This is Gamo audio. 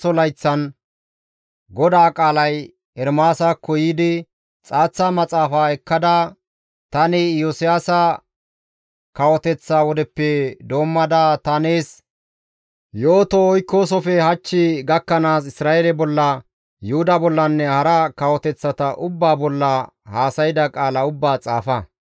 «Xaaththa maxaafa ekkada tani Iyosiyaasa kawoteththa wodeppe doommada ta nees yooto oykkoosofe hach gakkanaas Isra7eele bolla, Yuhuda bollanne hara kawoteththata ubbaa bolla haasayda qaala ubbaa xaafa.